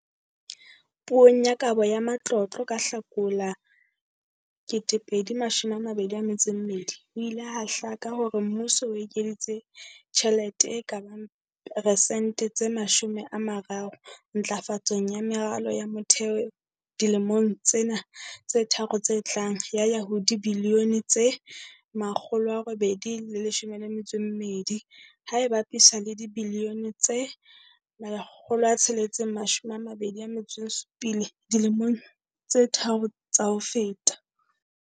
Puong ya Kabo ya Matlotlo ka Hlakola 2022, ho ile ha hlaka hore mmuso o ekeditse tjhelete e ka bang persente tse 30 ntlafatsong ya meralo ya motheo dilemong tsena tse tharo tse tlang ya ya ho dibilione tse R812, ha e bapiswa le dibilione tse R627 dilemong tse tharo tsa ho feta.